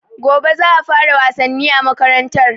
Gobe za a fara wasanni a makarantar